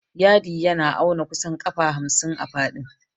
Yadi yana auna kusan ƙafa hamsin a faɗin.